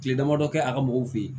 Tile damadɔ kɛ a ka mɔgɔw fe yen